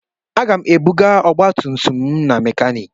Aga m ebuga ọgbatumtum m na mekaniiki.